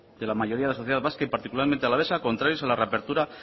de la mayoría de la sociedad vasca y particularmente alavesa contrarias a la reapertura